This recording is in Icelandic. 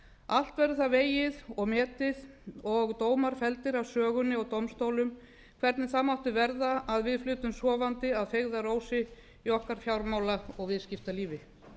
allt verður það vegið og metið og dómar felldir af sögunni og dómstólum hvernig það mátti verða að við flutum sofandi að feigðarósi í okkar fjármála og viðskiptalífi